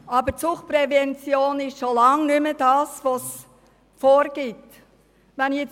Aber die Suchtprävention ist schon lange nicht mehr, was sie zu sein vorgibt.